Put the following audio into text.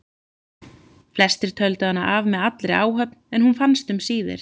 Flestir töldu hana af með allri áhöfn en hún fannst um síðir.